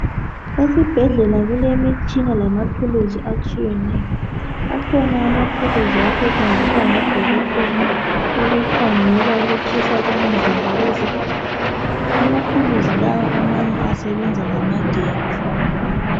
Esibhedlela kulemitshina lamathulusi atshiyeneyo .Akhona amathulusi asetshenziswa ngodokotela ukukhangela ukutshisa komzimba wezigulane. Amathulusi lawa amanye asebenza ngamagetsi.